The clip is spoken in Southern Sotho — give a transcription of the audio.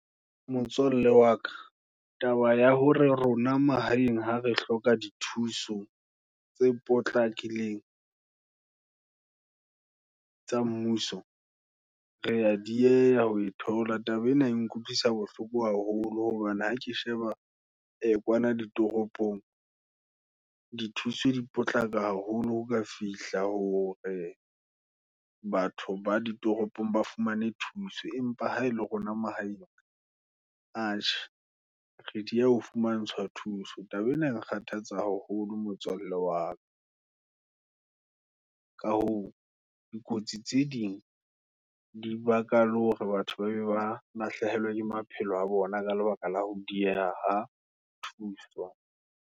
Motswalle waka, taba ya hore rona mahaeng, ha re hloka di thuso tse potlakileng, tsa mmuso, Re ya dieha ho thola. Taba ena e nkutlwisa bohloko haholo, hobane ha ke sheba kwana ditoropong. di thuswe di potlaka haholo, ho ka fihla hore batho ba ditoropong ba fumane thuso, empa ha e le rona mahaeng, atjhe, re diya ho fumantshwa thuso, taba ena, nkgathatsa haholo motswalle waka. Ka hoo, dikotsi tse ding, dibaka la hore batho babang, ba lahlehelwa ke maphelo a bona, ka lebaka la ho dieha ha thuso.